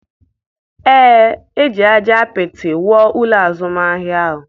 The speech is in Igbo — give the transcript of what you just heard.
Ee, e ji ájá apịtị wuo ụlọ azụmahịa ahụ.